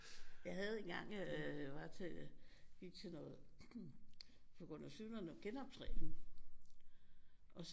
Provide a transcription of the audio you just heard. Jeg havde engang øh jeg var til gik til noget på grund af sygdom noget genoptræning og så